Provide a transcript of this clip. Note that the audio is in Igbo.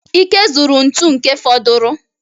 Ike zuru ntu nke fọduru